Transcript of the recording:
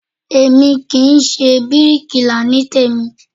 Èmi kì í ṣe bíríkilà ní tèmí